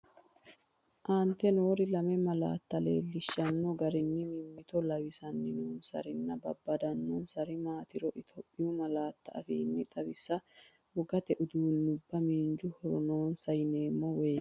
Aante noore lame malaatta leellinshanni garinni mimmito lawisan nonsarinni babbadannonsari maatiro Itophiyu malaatu afiinni xaw isse, Wogate uduunnubba miinju horo noonsa yineemmo woyite?